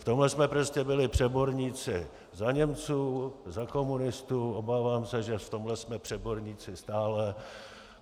V tomhle jsme prostě byli přeborníci za Němců, za komunistů, obávám se, že v tomhle jsme přeborníci stále.